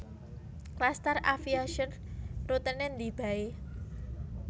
Klastar Aviation rutene ndi bae